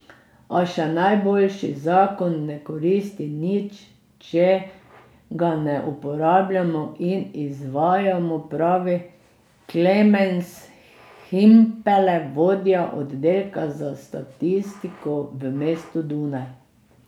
A še najboljši zakon ne koristi nič, če ga ne uporabljamo in izvajamo, pravi Klemens Himpele, vodja oddelka za statistiko v mestu Dunaj.